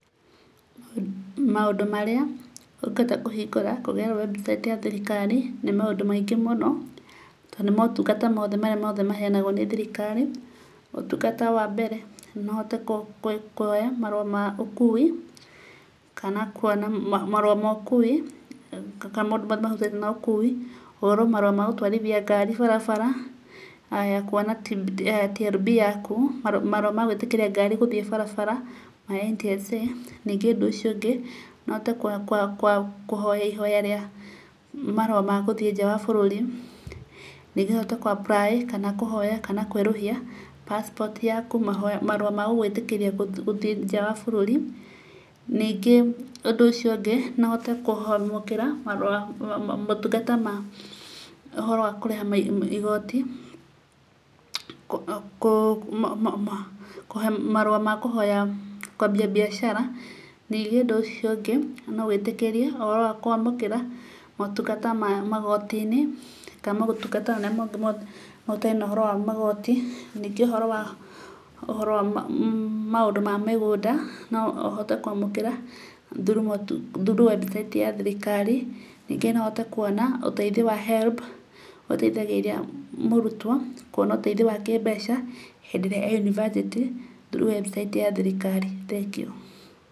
Maũndũ marĩa ũngĩhota kũhingũra kũgerera website ya thirikari, nĩ maũndũ maingĩ mũno, tondũ nĩ motungata mothe marĩa mothe maheyanagwo nĩ thirikari, ũtungata wambere, noũhote kuoya marũa maũkuuwi, kana kuona marũa ma ũkuuwi, kana maũndũ marĩa mahutanĩtie na ũkuuwi, ũhoro wa marũa magũtwarithia ngari barabara, haya, kuona TLB yaku, marũa magũĩtĩkĩria ngari gũthiĩ barabara ma NTSA. Ningĩ ũndũ ũcio ũngĩ, nohote kũhoya ihoya rĩa marũa ma gũthiĩ nja wa bũrũri. Ningĩ hote kũ apply kana kũhoya kana kũerũhia passport yaku, marũa magũgwĩtĩkĩria gũthiĩ nja wa bũrũri. Ningĩ ũndũ ũcio ũngĩ, nohote kwamũkĩra motungata ma ũhoro wa kũrĩha igoti, kũhe marũa makũhoya kwambia mbiacara. Ningĩ ũndũ ũcio ũngĩ, nogũĩtĩkĩrie, ũhoro wa kũamũkĩra motungata mamagoti-inĩ, kana motungata marĩa mothe mothe mena ũhoro wa magoti, ningĩ ũhoro wa, ũhoro wa maũndũ mamĩgũnda, no ũhote kwamũkĩra through website ya thirikari. Ningĩ no ũhote kuona ũteithio wa HELB, ũrĩa ũteithagĩrĩria mũrutwo kwona ũteithio wa kĩmbeca hĩndĩ ĩrĩa eyunibacĩtĩ through website ya thirikari, thengiũ.